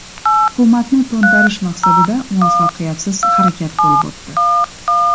Hukumatni to‘ntarish maqsadida muvaffaqiyatsiz harakat bo‘lib o‘tdi .